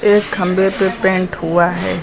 एक खंभे पे पेंट हुआ है।